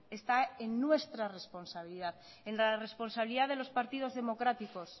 está en nuestra responsabilidad en la responsabilidad de los partidos democráticos